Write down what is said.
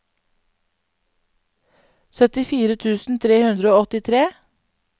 syttifire tusen tre hundre og åttitre